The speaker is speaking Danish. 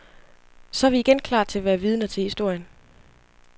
Så er vi igen klar til at være vidner til historien.